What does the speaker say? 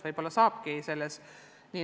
Võib-olla saabki.